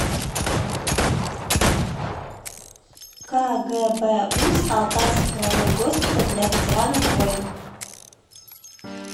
кгбуз алтайский краевой госпиталь для ветеранов войн